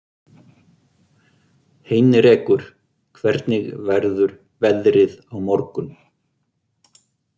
Heinrekur, hvernig verður veðrið á morgun?